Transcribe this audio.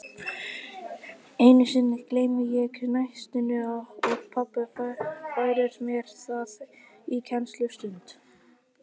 Einu sinni gleymi ég nestinu og pabbi færir mér það í kennslustund.